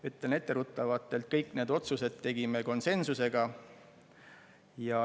Ütlen etteruttavalt, et kõik need otsused tegime konsensusega.